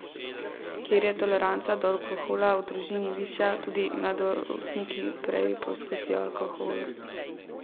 Kjer je toleranca do alkohola v družini višja, tudi mladostniki prej poskusijo alkohol.